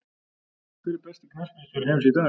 Hver er besti knattspyrnustjóri heims í dag?